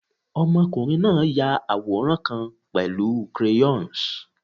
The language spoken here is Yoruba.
Ọmọkunrin na ya aworan kan pẹlu crayons